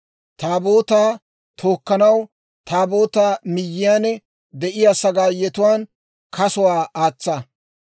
Taabootaa tookkanaw, Taabootaa miyyiyaan de'iyaa sagaayetuwaan kasuwaa aatsa.